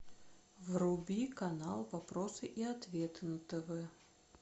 вруби канал вопросы и ответы на тв